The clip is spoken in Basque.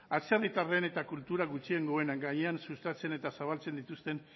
atzerritarren eta kultura gutxiengoen gainean sustatzen eta zabaltzen dituzten